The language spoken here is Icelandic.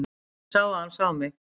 Ég sá að hann sá mig.